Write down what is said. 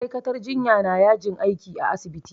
Ma'aikatar jinya na yajin aiki a asibiti